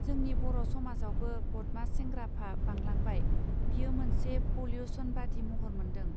जोंनि बर समाजआवबो बदमास सेंग्राफा बांलांबाय बियो मोनसे पंलिउसन बादि महर मोन्दों.